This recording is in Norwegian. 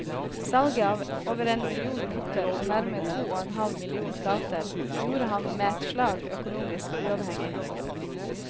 Salget av over en million noter og nærmere to og en halv million plater gjorde ham med et slag økonomisk uavhengig.